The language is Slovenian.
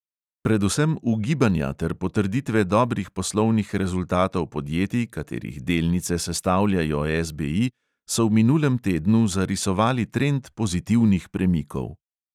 Predvsem ugibanja ter potrditve dobrih poslovnih rezultatov podjetij, katerih delnice sestavljajo SBI, so v minulem tednu zarisovali trend pozitivnih premikov.